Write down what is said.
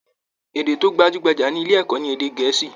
Èdè tó gbajúgbajà ní ilé ẹ̀kọ́ ní Èdè Gẹ̀ẹ́sì.